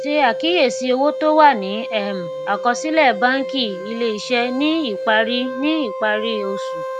ṣe àkíyèsí owó tó wà ní um àkọsílè bánkì ilé iṣé ní ìparí ní ìparí oṣù